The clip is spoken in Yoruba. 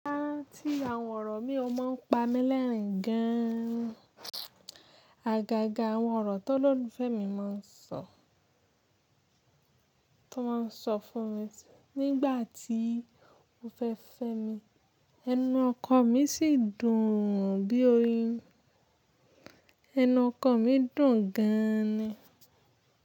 Ba rántí àwọn ọ̀rọ̀ mí i o máa ń pa mí lẹ́rìn gan an. Àgàgà àwọn ọ̀rọ̀ tó olólùfẹ́ mi mọ ń sọ, tó máa ń sọ fún mi nígbà tí ó fẹ́ fẹ́ mi, ẹnu ọkọ mí sì dùn bí oyin. Ẹnu ọkọ mi dùn gan-an ni.